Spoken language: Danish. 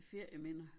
Ferieminder